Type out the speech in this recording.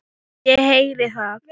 Ég heyri það.